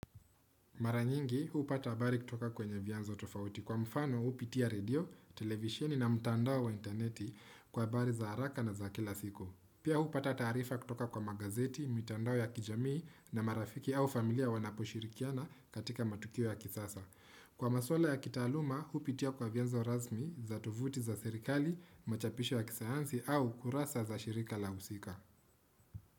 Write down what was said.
Mara nyingi hupata habari kutoka kwenye vianzo tofauti kwa mfano hupitia redio, televisheni na mutandao wa interneti kwa habari za haraka na za kila siku. Pia hupata taarifa kutoka kwa magazeti, mitandao ya kijamii na marafiki au familia wanaposhirikiana katika matukio ya kisasa. Kwa maswala ya kitaaluma hupitia kwa vianzo rasmi za tovuti za serikali, machapisho ya kisayansi au kurasa za shirika la husika.